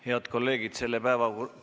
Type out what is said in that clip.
Head kolleegid!